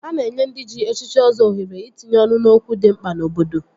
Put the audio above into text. A na-enye ndị ji echichi Ọzọ ohere itinye ọnụ n'okwu dị mkpa n'obodo